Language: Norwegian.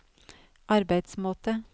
arbeidsmåte